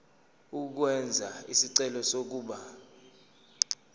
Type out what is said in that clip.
ukwenza isicelo sokuba